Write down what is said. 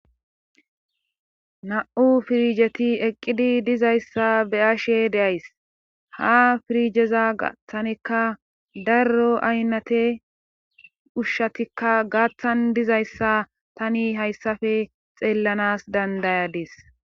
Na7u piizhetieqqidi dizayssa be7ashe de7ays ha pirizheza tanikka darro aynate Ushatikka gaathan dizayssa tani hayssafe xeellanaas danddayadis.